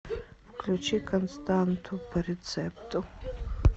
включи константу по рецепту